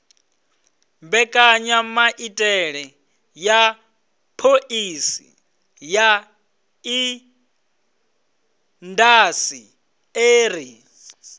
mbekanyamaitele ya phoḽisi ya indasiṱeri